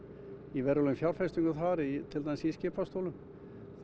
í verulegum fjárfestingum þar til dæmis í skipastólnum